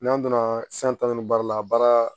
N'an donna san tan ni baara la baara